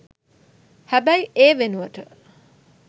හැබැයි ඒ වෙනුවට